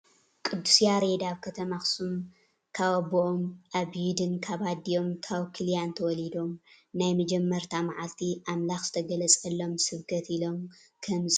ቅዱስ ያሬድ ኣብ ከተማ ኣክሱም ካብ ኣቦኦም ኣቢዩድን ካብ ኣዲኦም ታውክሊያን ተወሊዶም። ናይ መጀመርያ ማዓልቲ ኣምላክ ዝተገለፆሎም ስብከት ኢሎም ከምዝፀውዕዎ ትፈልጡ ዶ?